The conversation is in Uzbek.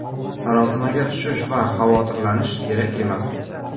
Sarosimaga tushish va xavotirlanish kerak emas.